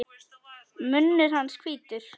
Munnur hans hvítur.